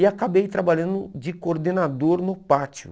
E acabei trabalhando de coordenador no pátio.